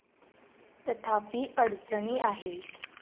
तथापि, अडचणी आहेत.